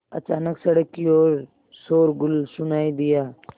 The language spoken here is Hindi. अचानक सड़क की ओर शोरगुल सुनाई दिया